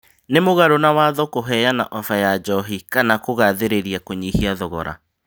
Nĩ mũgaro na watho, kuheana 'ofa' ya njohi kana kũgathĩrĩria kunyihia thogora